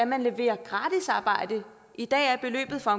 man leverer gratis arbejde i dag er beløbet for